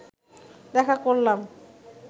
দেখা করলাম